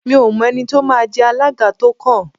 Mi ò mọ ẹni tí ó máa jẹ alága tó kàn